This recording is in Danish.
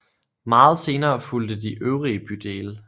Meget senere fulgte de øvrige bydele